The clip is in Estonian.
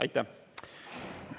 Aitäh!